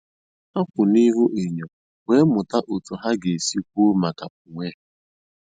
Ha kwụ n'ihu enyo wee mụta otu ha ga-esi kwuo maka onwe ha